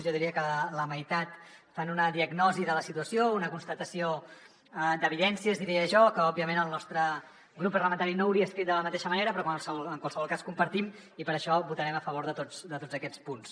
jo diria que la meitat fan una diagnosi de la situació una constatació d’evidències diria jo que òbviament el nostre grup parlamentari no hauria escrit de la mateixa manera però que en qualsevol cas compartim i per això votarem a favor de tots aquests punts